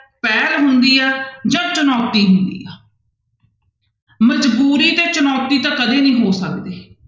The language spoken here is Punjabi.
ਪਹਿਲ ਹੁੰਦੀ ਆ, ਜਾਂ ਚੁਣੋਤੀ ਹੁੰਦੀ ਆ ਮਜ਼ਬੂਰੀ ਤੇ ਚੁਣੋਤੀ ਤਾਂ ਕਦੇ ਨੀ ਹੋ ਸਕਦੇ।